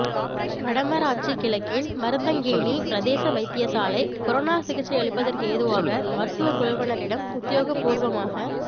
வடமராட்சி கிழக்கின் மருதங்கேணி பிரதேச வைத்தியசாலை கொரோனா சிகிச்சையளிப்பதற்கேதுவாக மருத்துவ குழுவினரிடம் உத்தியோகபூர்வமாக